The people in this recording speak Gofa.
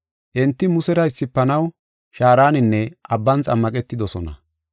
Enti Musera issifanaw shaaraninne abban xammaqetidosona.